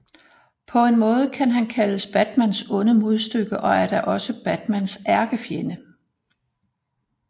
På en måde kan han kaldes Batmans onde modstykke og er da også Batmans ærkefjende